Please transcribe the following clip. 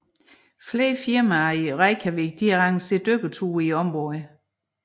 Flere firmaer i Reykjavik arrangerer dykkerture til området